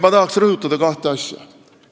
Ma tahaksin rõhutada kahte asja.